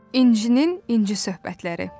İncinin İnci söhbətləri.